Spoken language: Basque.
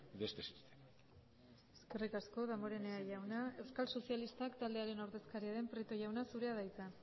de este sistema eskerrik asko damborenea jauna euskal sozialistak taldearen ordezkaria den prieto jauna zurea da hitza